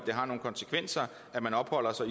have konsekvenser når man opholder sig